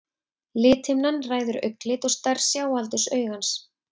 lithimnan ræður augnlit og stærð sjáaldurs augans